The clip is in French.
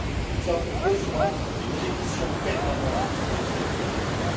Nous avons besoin d'une révision permanente de cette directive.